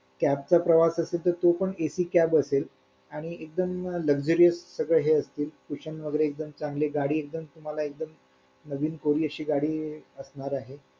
cab चा प्रवास असेल तर तो पण AC cab असेल आणि एकदम लक्झरी हे सगळं असतील cushion वगैरे हे चांगले गाडी एकदम तुम्हाला एकदम नवीन कोरि अशी गाडी असणार आहे